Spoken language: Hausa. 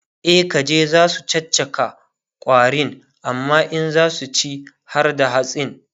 e kaji zasu caccaka ƙwarin amma in zasu ci harda hatsin